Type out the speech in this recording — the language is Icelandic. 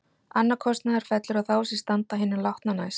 Annar kostnaður fellur á þá sem standa hinum látna næst.